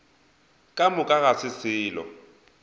ka moka ga se selo